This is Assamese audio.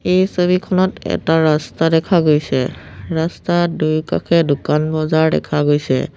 এই ছবিখনত এটা ৰাস্তা দেখা গৈছে ৰাস্তাত দুয়োকাষে দোকান বজাৰ দেখা গৈছে।